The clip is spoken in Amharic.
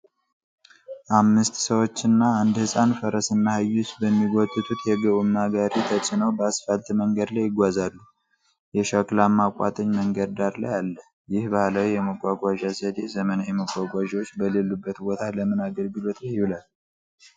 አምስት ሰዎች እና አንድ ሕፃን ፈረስና አህዮች በሚጎትቱት የጎማ ጋሪ ተጭነው በአስፋልት መንገድ ላይ ይጓዛሉ። የሸክላማ ቋጥኝ መንገድ ዳር ላይአለ። ይህ ባህላዊ የመጓጓዣ ዘዴ ዘመናዊ መጓጓዣዎች በሌሉበት ቦታ ለምን አገልግሎት ላይ ይውላል?